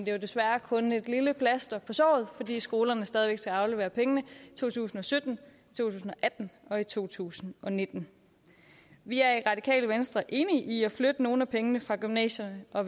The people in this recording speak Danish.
jo desværre kun et lille plaster på såret fordi skolerne stadig væk skal aflevere pengene i to tusind og sytten to tusind og atten og i to tusind og nitten vi er i radikale venstre enige i at flytte nogle af pengene fra gymnasierne og